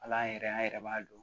Hal'an yɛrɛ an yɛrɛ b'a don